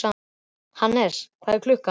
Hannes, hvað er klukkan?